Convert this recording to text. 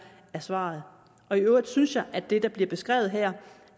er svaret i øvrigt synes jeg at det der bliver beskrevet her